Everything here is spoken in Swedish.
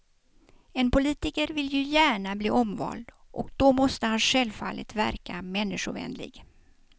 En politiker vill ju gärna bli omvald, och då måste han självfallet verka människovänlig.